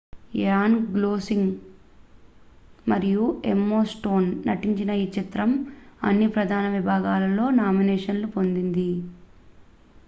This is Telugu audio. ర్యాన్ గోస్లింగ్ మరియు ఎమ్మా స్టోన్ నటించిన ఈ చిత్రం అన్ని ప్రధాన విభాగాలలో నామినేషన్లను పొందింది